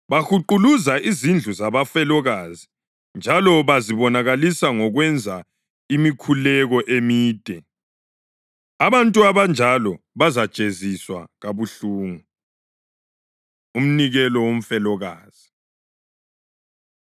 Bahuquluza izindlu zabafelokazi njalo bazibonakalisa ngokwenza imikhuleko emide. Abantu abanjalo bazajeziswa kabuhlungu.” Umnikelo Womfelokazi